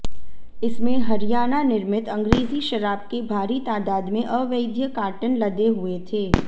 इसमें हरियाणा निर्मित अंग्रेजी शराब के भारी तादाद में अवैध कार्टन लदे हुए थे